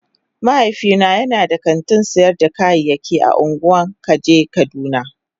Mahaifina yana da kantin sayar da kayayyaki a ungwan kaje kaduna.